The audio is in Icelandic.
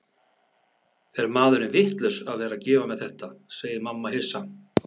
Er maðurinn vitlaus að vera að gefa mér þetta, segir mamma hissa.